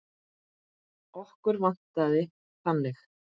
Okkur vantaði þannig.